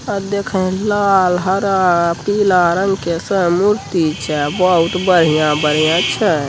ओर देखें लाल हरा पीला रंग का सब मूर्ति छै बहुत बढ़ियाँ-बढ़ियाँ छै।